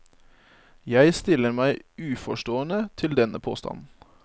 Jeg stiller meg uforstående til denne påstanden.